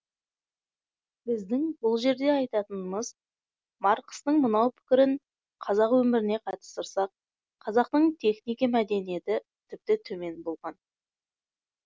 біздің бұл жерде айтатынымыз марқыстың мынау пікірін қазақ өміріне қатыстырсақ қазақтың технике мәдениеті тіпті төмен болған